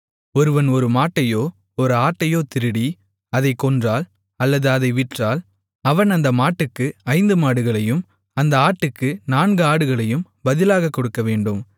ஒருவன் ஒரு மாட்டையோ ஒரு ஆட்டையோ திருடி அதைக் கொன்றால் அல்லது அதை விற்றால் அவன் அந்த மாட்டுக்கு ஐந்து மாடுகளையும் அந்த ஆட்டுக்கு நான்கு ஆடுகளையும் பதிலாகக் கொடுக்கவேண்டும்